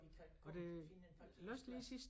Og vi kan kun finde en parkeringsplads